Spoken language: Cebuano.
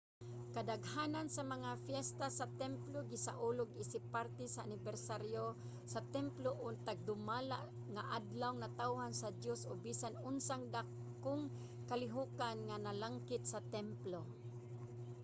kadaghanan sa mga piyesta sa templo gisaulog isip parte sa anibersaryo sa templo o nagdumala nga adlawng natawhan sa diyos o bisan unsang dakong kalihokan nga nalangkit sa templo